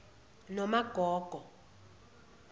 nomagogo